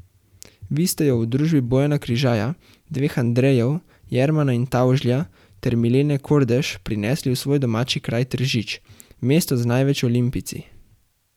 Vi ste jo v družbi Bojana Križaja, dveh Andrejev, Jermana in Tavžlja, ter Milene Kordež prinesli v svoj domači kraj Tržič, mesto z največ olimpijci.